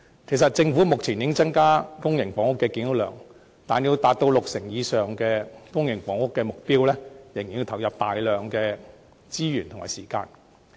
其實，政府目前已增加公營房屋的建屋量，但要達到六成以上居民入住公營房屋的目標，仍須投放大量資源和時間。